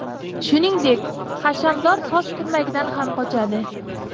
Shuningdek, hashamdor soch turmagidan ham qochadi.